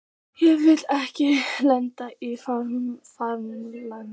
Ég vil ekki lenda í fangelsi.